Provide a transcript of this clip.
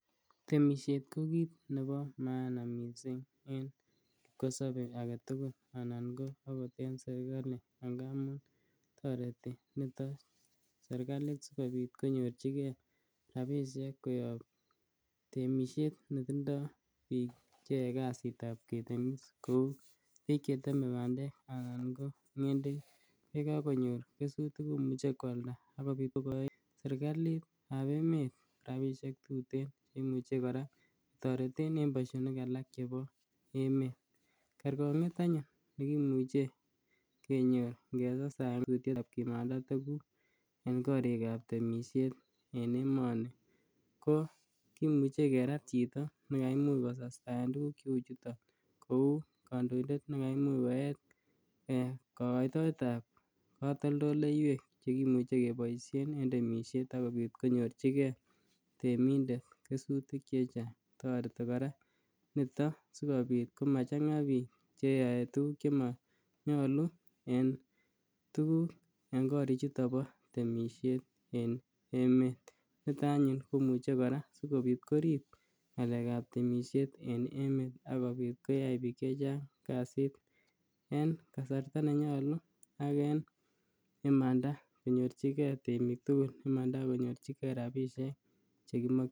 Temishet ko kiit nebo maana mising' en kosobe agetugul anan ko akot en serikali angaamun toreti nito serikalit sikobit konyorchigei rabishek koyop temishet netindoi biik cheyoei kasitab ketemis kou biik chetemei bandek anan ko ng'endek yekakonyor kesutik komuche kwalda akobit kokoe serikalitab emet rabishek tutin imuche kora toreten en boishonik alak chebo emet kerkong'et anyun nekimuche kenyor ngetestai ak tetutyetab komanda tukuk en korikab temishet en emoni ko kimuche kerat chito nekamuuch kotestaen tukuk cheu chuto kou kandoindet nekaimuch koet kakoitoetab katoldoleiwek cheimuche keboishen en temishet akobit konyorchigei temindet kesutik chechang' toreti kora nito sikobit komachang'a biik cheyoei tukuk chemanyolu en korichoto bo temishet en emet nito anyun komuche kora sikobit korib ng'alekab temishet en emet akobit koyai biik chechang' kasit en kasarta nenyolu ak en imanda konyorchinige temik tugul imanda akonyorchigei rabishek